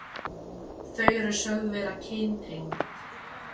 Þau eru sögð vera kyntengd.